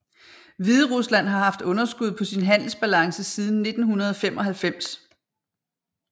Hviderusland har haft underskud på sin handelsbalance siden 1995